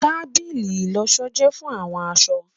Tábìlì ìlọṣọ jẹ fun awọn aṣọ